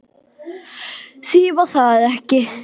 Því var það ekki